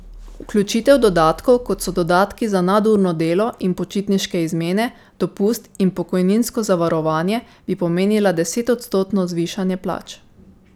Vključitev dodatkov, kot so dodatki za nadurno delo in počitniške izmene, dopust in pokojninsko zavarovanje, bi pomenila desetodstotno zvišanje plač.